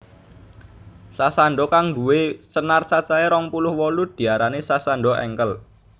Sasando kang nduwe senar cacahe rong puluh wolu diarani Sasando Engkel